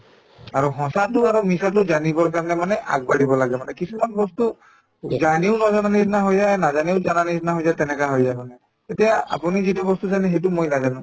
আৰু সঁচাটো আৰু মিছাটো জানিবৰ কাৰণে মানে আগবাঢ়িব লাগে মানে কিছুমান বস্তু জানিও নজনাৰ নিচিনা হৈ যায় আৰু নাজানিও জানাৰ নিচিনা হৈ যায় তেনেকুৱা হৈ যায় মানে তেতিয়া আপুনি যিটো বস্তু জানে সেইটো মই নাজানো